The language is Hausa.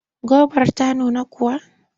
Gobar ta nuna kuwa?